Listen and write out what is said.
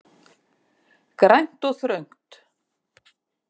Grænt og þröngt.